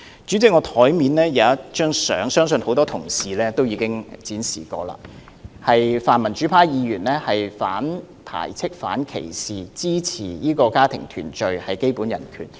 主席，我桌上有一張相片，我相信多位議員皆已展示，當中可見泛民主派議員反排斥、反歧視，支持家庭團聚是基本人權。